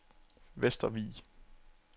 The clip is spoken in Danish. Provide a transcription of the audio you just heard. Vestervig